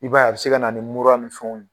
I b'a ye a bɛ se ka na ni mur ni fɛnw ye.